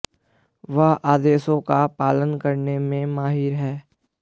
वह आदेशों का पालन करने में माहिर है